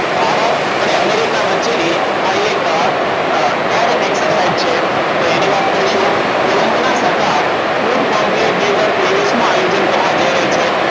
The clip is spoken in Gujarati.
ભારત અને અમેરિકા વચ્ચેની આ એક અ air exercise છે. તેની વાત કરીશું તેલંગણા સરકાર food comply builder prevish નું આયોજન કરવા જઈ રહી છે.